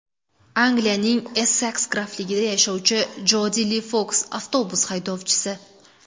Angliyaning Esseks grafligida yashovchi Jodi Li Foks avtobus haydovchisi.